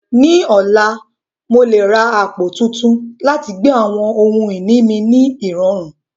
Ní ọ̀la, mo lè ra àpò tuntun láti gbé àwọn ohun ìní mi ní ìrọ̀rùn.